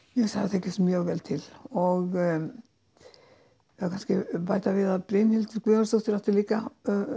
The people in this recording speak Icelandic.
tekist mjög vel til og það má kannski bæta við að Brynhildur Guðjónsdóttir átti líka